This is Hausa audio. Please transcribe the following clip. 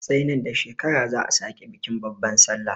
Sai nan da shekara za'a sake bikin babban sallah.